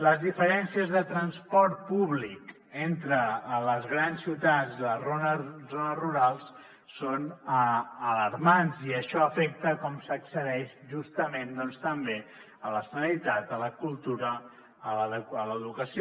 les diferències de transport públic entre les grans ciutats i les zones rurals són alarmants i això afecta la manera com s’accedeix justament també a la sanitat a la cultura a l’educació